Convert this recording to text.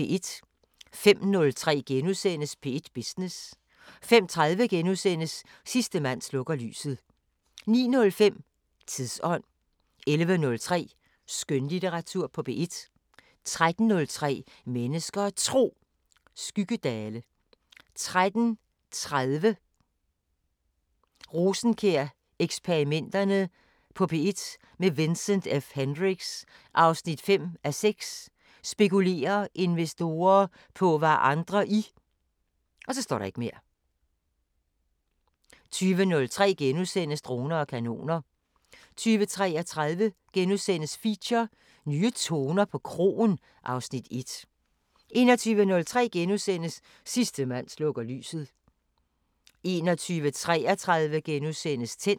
05:03: P1 Business * 05:30: Sidste mand slukker lyset * 09:05: Tidsånd 11:03: Skønlitteratur på P1 13:03: Mennesker og Tro: Skyggedale 13:30: Rosenkjær-eksperimenterne på P1 – med Vincent F Hendricks: 5:6 Spekulerer investorer på hvad andre i 20:03: Droner og kanoner * 20:33: Feature: Nye toner på kroen (Afs. 1)* 21:03: Sidste mand slukker lyset * 21:33: Tændt *